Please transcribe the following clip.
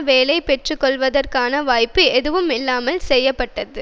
வேலையை பெற்றுக்கொள்வதற்கான வாய்ப்பு எதுவும் இல்லாமல் செய்ய பட்டது